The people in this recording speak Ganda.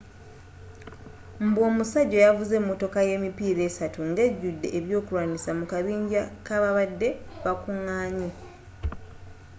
mbu omusajja yavuze emotoka yemipiira essatu ngejjude ebyokulwanyisa mu kabinja kababade bakunganye